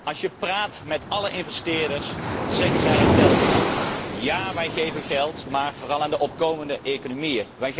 Als je echter praat met alle investeerders, zeggen zij het telkens hetzelfde Ja, wij geven geld, maar vooral aan de opkomende economieën.